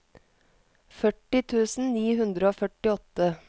førti tusen ni hundre og førtiåtte